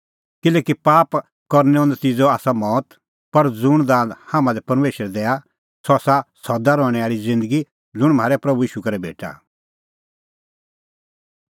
किल्हैकि पाप करनैओ नतिज़अ आसा मौत पर ज़ुंण दान हाम्हां लै परमेशर दैआ सह आसा सदा रहणैं आल़ी ज़िन्दगी ज़ुंण म्हारै प्रभू ईशू करै भेटा